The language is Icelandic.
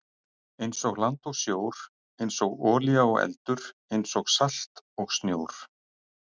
einsog land og sjór einsog olía og eldur einsog salt og snjór.